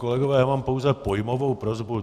Kolegové, já mám pouze pojmovou prosbu.